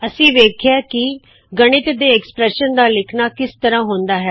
ਅਸੀ ਵੇਖਿਆ ਕੀ ਗਣਿਤ ਦੇ ਐਕ੍ਸਪ੍ਰੈੱਸ਼ਨ ਉਕਤਿ ਐਕਸਪ੍ਰੈਸ਼ਨ ਦਾ ਲਿਖਨਾ ਕਿਸ ਤਰਹ ਹੁੰਦਾ ਹੈ